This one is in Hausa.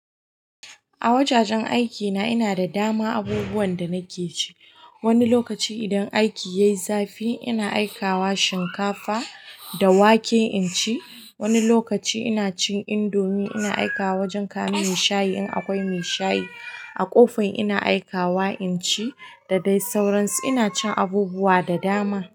A wajajen aikina ina da dama abubuwan da nake ci. Wani lokaci idan aiki yayi zafi ina aikawa shinkafa da wake in ci. Wani lokaci ina cin indomie ina aikawa wajen kamar mai shayi in akwai mai shayi. A ƙofar ina aikawa in ci da dai sauransu. Ina cin abubuwa da dama.